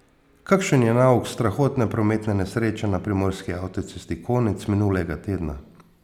Kakšen je nauk strahotne prometne nesreče na primorski avtocesti konec minulega tedna?